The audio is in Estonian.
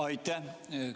Aitäh!